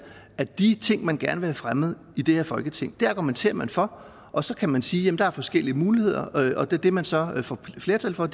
at de ting man gerne fremmet i det her folketing argumenterer man for og så kan man sige at der er forskellige muligheder og det det man så få flertal for